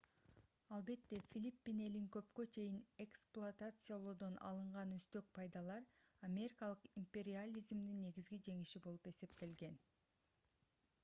албетте филиппин элин көпкө чейин эксплуатациялоодон алынган үстөк пайдалар америкалык империализмдин негизги жеңиши болуп эсептелген